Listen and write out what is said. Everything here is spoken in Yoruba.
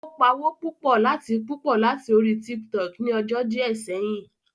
Ó pawó púpọ̀ láti púpọ̀ láti orí Tiktok ni ọjọ́ díẹ̀ sẹ́yìn